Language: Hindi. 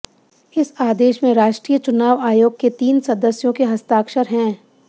इस आदेश में राष्ट्रीय चुनाव आयोग के तीन सदस्यों के हस्ताक्षर हैं